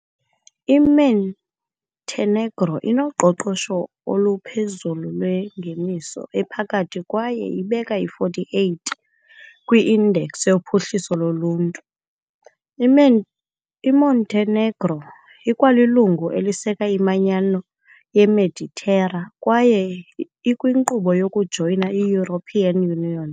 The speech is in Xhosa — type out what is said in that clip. I-Montenegro inoqoqosho oluphezulu lwengeniso ephakathi kwaye ibeka i-48 kwi- Index yoPhuhliso loLuntu . IMontenegro ikwalilungu eliseka iManyano yeMeditera, kwaye ikwinkqubo yokujoyina i-European Union .